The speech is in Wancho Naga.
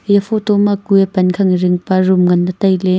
iya photo ma kue pan khang dingpa room nganley tailey.